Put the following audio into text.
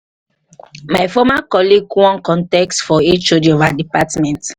my former colleague wan contest for hod of our department